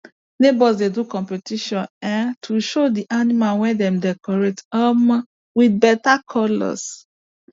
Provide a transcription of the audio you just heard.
neighbors dey do competition um to show the animal wey dem decorate um with better colours